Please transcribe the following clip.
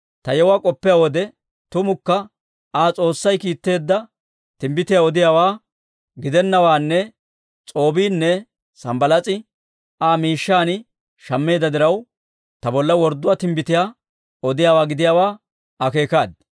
Ta yewuwaa k'oppiyaa wode, tumukka Aa S'oossay kiitteedda timbbitiyaa odiyaawaa gidennawaanne S'oobbiinne Sanbbalaas'i Aa miishshan shammeedda diraw, ta bolla worddo timbbitiyaa odiyaawaa gidiyaawaa akeekaaddi.